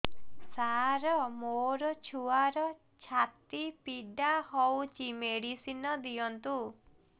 ସାର ମୋର ଛୁଆର ଛାତି ପୀଡା ହଉଚି ମେଡିସିନ ଦିଅନ୍ତୁ